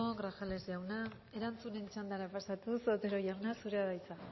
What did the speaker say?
grajales jauna erantzunen txandara pasatuz otero jauna zurea da hitza